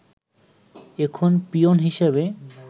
এখন পিওন হিসেবে